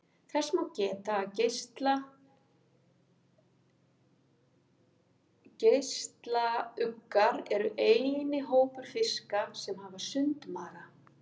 Þess má geta að geislauggar eru eini hópur fiska sem hafa sundmaga.